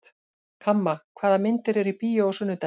Kamma, hvaða myndir eru í bíó á sunnudaginn?